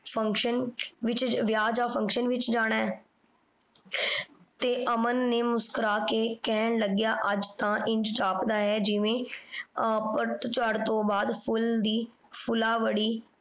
function ਵਿਯਾਹ ਯਾਨ function ਵਿਚ ਜਾਣਾ ਆਯ ਤੇ ਅਮਨ ਨੇ ਮੁਸ੍ਕ੍ਰੁਆ ਕੇ ਕਹਨ ਲਾਗ੍ਯ ਆਜ ਤਾਂ ਇੰਜ ਜਾਪਦਾ ਆਯ ਜਿਵੇਂ ਪਾਤ ਝਰ ਤੋਂ ਬਾਅਦ ਫੁਲ ਦੀ ਫੁਲਵਾਰੀ